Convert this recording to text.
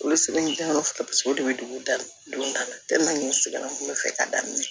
Olu seginnen kɔfɛ paseke o de bɛ dugu dan don da la n sɛgɛn na fɛ ka daminɛ